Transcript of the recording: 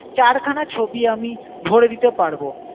চারখানা ছবি আমি ভরে দিতে পারবো।